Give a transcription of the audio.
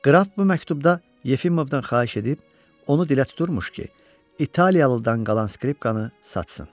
Qraf bu məktubda Yefimovdan xahiş edib, onu dilə tuturmuş ki, İtaliyalıdan qalan skripkanı satsın.